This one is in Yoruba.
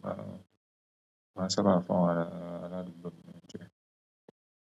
màá n, màá n sábà fún àwọn aládùúgbò mi ni oúnjẹ.